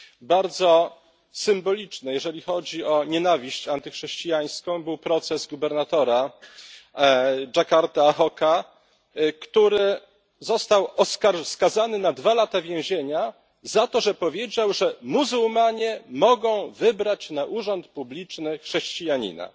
Bardzo symboliczny, jeżeli chodzi o nienawiść antychrześcijańską, był proces gubernatora Dżakarty Ahoka, który został skazany na dwa lata więzienia za to, że powiedział, że muzułmanie mogą wybrać na urząd publiczny chrześcijanina.